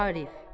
Arif.